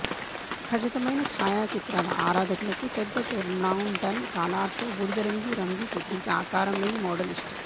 ఖచ్చితమైన ఛాయాచిత్రాల ఆరాధకులకు పెద్ద తుర్న్డౌన్ కాలార్తో బూడిదరంగు రంగు సుదీర్ఘ ఆకారంలేని మోడల్ ఇష్టం